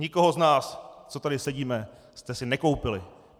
Nikoho z nás, co tady sedíme, jste si nekoupili.